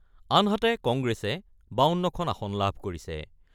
আনহাতে, কংগ্ৰেছে ৫২খন আসন লাভ কৰিছে।